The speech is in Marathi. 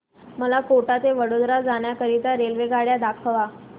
मला कोटा ते वडोदरा जाण्या करीता रेल्वेगाड्या दाखवा